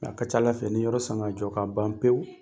A ka ca ala fɛ ni yɔrɔ san ka jɔ ka ban pewu